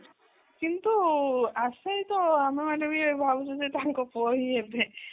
କିନ୍ତୁ ଆମେ ମାନେ ବି ଭାବୁଛୁ ଯେ ତାଙ୍କ ପୁଅ ହିଁ ହେବେ